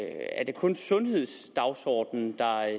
er det kun sundhedsdagsordenen der